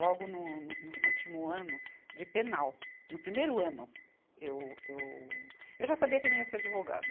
Logo no, no último ano de penal, no primeiro ano, eu, eu, eu já sabia que não ia ser advogada.